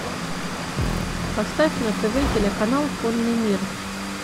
поставь на тв телеканал конный мир